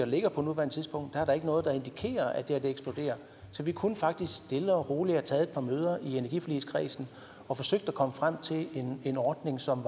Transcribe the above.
ligger på nuværende tidspunkt er der ikke noget der indikerer at det her eksploderer så vi kunne faktisk stille og roligt have taget et par møder i energiforligskredsen og forsøgt at komme frem til en ordning som